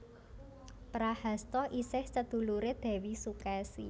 Prahasta isih seduluré Dèwi Sukesi